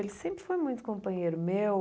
Ele sempre foi muito companheiro meu.